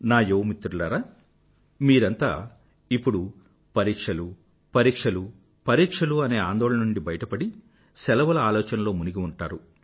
నా యువ మిత్రులారా మీరంతా ఇప్పుడు పరీక్షలుపరీక్షలు పరీక్షలు అనే ఆందోళన నుండి బయటపడి శెలవుల ఆలోచనల్లో మునిగి ఉంటారు